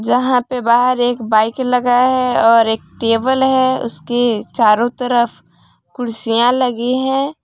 जहां पे बाहर एक बाइक लगा है और एक टेबल है उसके चारों तरफ कुर्सियां लगी है।